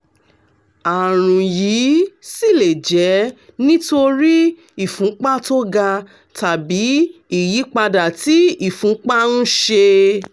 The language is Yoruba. àrùn yìí sì lè jẹ́ nítorí ìfúnpá tó ga tàbí ìyípadà tí ìfúnpá ń ṣe